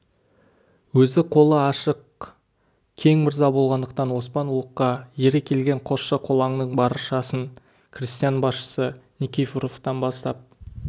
өзі қолы ашық кең мырза болғандықтан оспан ұлыққа ере келген қосшы-қолаңның баршасын крестьян басшысы никифоровтан бастап